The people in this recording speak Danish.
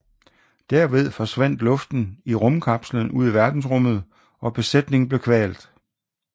Derved forsvandt luften i rumkapslen ud i verdensrummet og besætningen blev kvalt